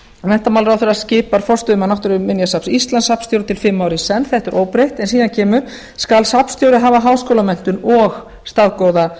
menntamálaráðherra skipar forstöðumann náttúruminjasafns íslands safnstjóra til fimm ára í senn þetta er óbreytt en síðan kemur skal safnstjóri hafa háskólamenntun og staðgóða